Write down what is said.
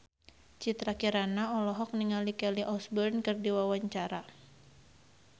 Citra Kirana olohok ningali Kelly Osbourne keur diwawancara